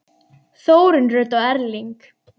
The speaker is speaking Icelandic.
Þórunn Rut og Erling.